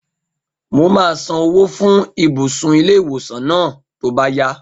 Mo máa san owó fún ibùsùn ilé-ìwòsàn náà tó bá yá